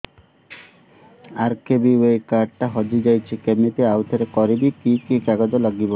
RKBY card ଟା ହଜିଯାଇଛି କିମିତି ଆଉଥରେ କରିବି କି କି କାଗଜ ଲାଗିବ